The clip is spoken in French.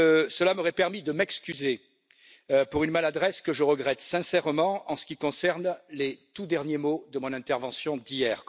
Cela m'aurait permis de m'excuser pour une maladresse que je regrette sincèrement, en ce qui concerne les tout derniers mots de mon intervention d'hier.